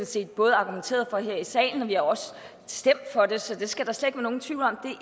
set både argumenteret for her i salen og vi har også stemt for det så det skal der slet nogen tvivl om